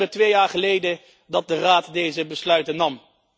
Het is in september twee jaar geleden dat de Raad deze besluiten nam.